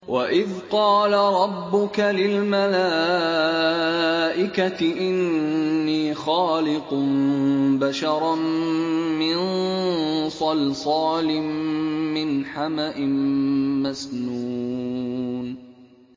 وَإِذْ قَالَ رَبُّكَ لِلْمَلَائِكَةِ إِنِّي خَالِقٌ بَشَرًا مِّن صَلْصَالٍ مِّنْ حَمَإٍ مَّسْنُونٍ